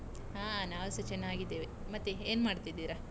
ಹಾ ನಾವ್ ಸ ಚೆನ್ನಾಗಿದ್ದೇವೆ, ಮತ್ತೆ ಏನ್ ಮಾಡ್ತಿದಿರಾ?